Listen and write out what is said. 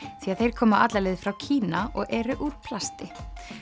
því að þeir koma alla leið frá Kína og eru úr plasti